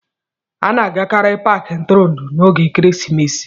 A na-agakarị Paakị ntụrụndụ n'oge ekeresimesi